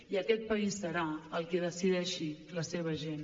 i aquest país serà el que decideixi la seva gent